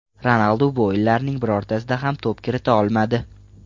Ronaldu bu o‘yinlarning birortasida ham to‘p kirita olmadi.